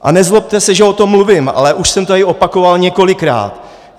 A nezlobte se, že o tom mluvím, ale už jsem to tady opakoval několikrát.